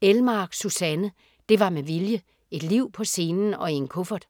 Elmark, Susanne: Det var med vilje: et liv på scenen og i en kuffert